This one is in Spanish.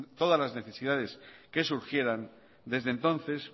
todas las necesidades que surgieran desde entonces